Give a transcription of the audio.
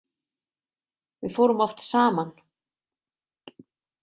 Við fórum oft saman.